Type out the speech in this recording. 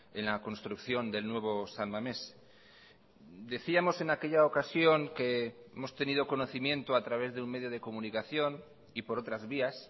en la construcción del nuevo san mames decíamos en aquella ocasión que hemos tenido conocimiento a través de un medio de comunicación y por otras vías